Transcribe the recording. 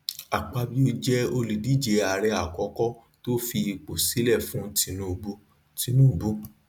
akpabio jẹ olùdíje ààrẹ àkọkọ tó fi ipò sílẹ fún tinubu tinubu